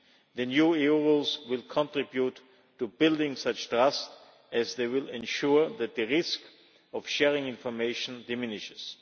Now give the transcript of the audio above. The new EU rules will contribute to building such trust, as they will ensure that the risk of sharing information diminishes.